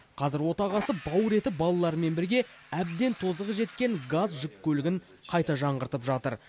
қазір отағасы бауыр еті балаларымен бірге әбден тозығы жеткен газ жүк көлігін қайта жаңғыртып жатыр